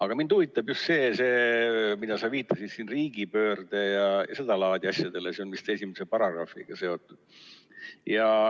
Aga mind huvitab just see, et sa viitasid siin riigipöördele ja seda laadi asjadele, see on vist esimese paragrahviga seotud.